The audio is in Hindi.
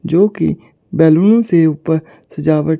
जो की बैलून से ऊपर सजावट --